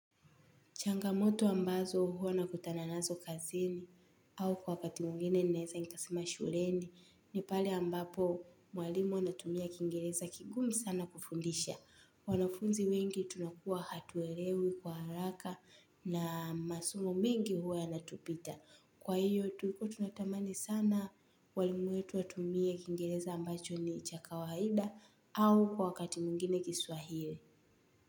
Changamoto ambazo hua na kutana nazo kazini, au kwa wakati mwingine ninaeza ikasema shuleni, ni pale ambapo, mwalimu anatumia kingereza kigumu sana, kufundisha. Wanafunzi wengi, tunakuwa hatuelewi kwa haraka na masomo mingi hua yana tupita. Kwa hiyo tulikua tunatamani sana walimu wetu watumie kingereza ambacho ni chaka waida au kwa wakati mwingine kiswahili.